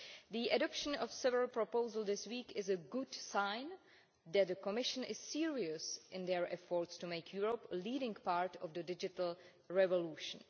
The adoption of several proposals this week is a good sign that the Commission is serious in its efforts to make Europe a leading part of the digital revolution.